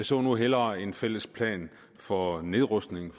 så nu hellere en fælles plan for nedrustning